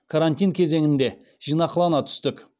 карантин кезеңінде жинақылана түстік